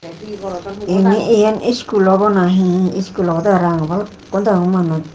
eani eane school obow nahi school oboday parapang balukun dagong manush.